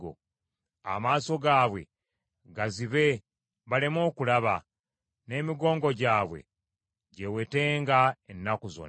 Amaaso gaabwe gazibe baleme okulaba, n’emigongo gyabwe gyewetenga ennaku zonna.